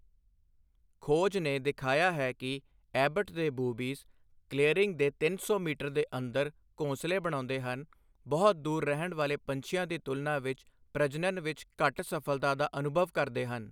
ਖੋਜ ਨੇ ਦਿਖਾਇਆ ਹੈ ਕਿ ਐਬਟ ਦੇ ਬੂਬੀਜ਼, ਕਲੀਅਰਿੰਗ ਦੇ ਤਿੰਨ ਸੌ ਮੀਟਰ ਦੇ ਅੰਦਰ ਘੋਂਸਲੇ ਬਣਾਉਂਦੇ ਹਨ, ਬਹੁਤ ਦੂਰ ਰਹਿਣ ਵਾਲੇ ਪੰਛੀਆਂ ਦੀ ਤੁਲਨਾ ਵਿੱਚ ਪ੍ਰਜਨਨ ਵਿੱਚ ਘੱਟ ਸਫ਼ਲਤਾ ਦਾ ਅਨੁਭਵ ਕਰਦੇ ਹਨ।